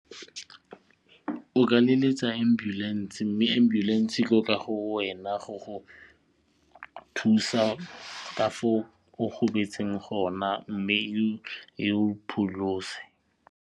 O ka leletsa ambulance mme ambulance e go wena go go thusa ka fo o gobetseng go na mme e go pholose.